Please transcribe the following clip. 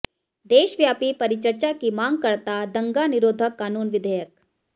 देशव्यापी परिचर्चा की मांग करता दंगा निरोधक कानून विधेयक